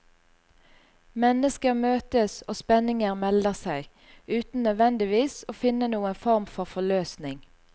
Mennesker møtes og spenninger melder seg, uten nødvendigvis å finne noen form for forløsning.